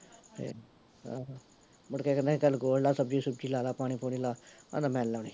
ਤੇ ਆਹੋ ਮੁੜ ਕੇ ਕਹਿਦਾ ਸੀ ਚੱਲ ਗੋਡ ਲਾ ਸਬਜ਼ੀ ਸੁਬਜ਼ੀ ਲਾਲਾ ਪਾਣੀ ਪੁਣੀ ਲਾ, ਕਹਿੰਦਾ ਮੈਨੀ ਲਾਉਣੀ